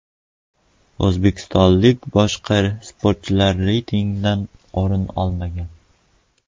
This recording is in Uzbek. O‘zbekistonlik boshqa sportchilar reytingdan o‘rin olmagan.